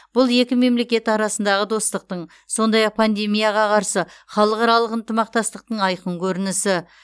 бұл екі мемлекет арасындағы достықтың сондай ақ пандемияға қарсы халықаралық ынтымақтастықтың айқын көрінісі